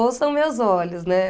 Ouçam meus olhos, né?